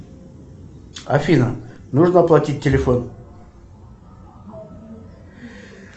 афина нужно оплатить телефон